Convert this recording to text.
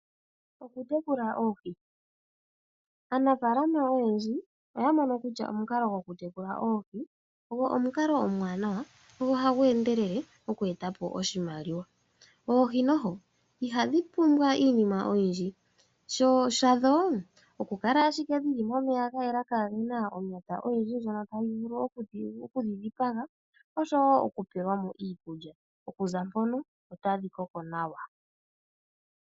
Okutekula oohi, aanafaalama oyendji oya mono kutya omukalo gwokutekula oohi ogwo omukalo omuwanawa go ohagu endelele oku eta po oshimaliwa, oohi noho ihadhi pumbwa iinima oyindji shadho oku kala ashike dhili momeya ga yela kaagena onata oyindji ndjono tayi vulu okudhidhipaga osho woo okupewelwa mo iikulya, okuza mpono otadhi koko nawa.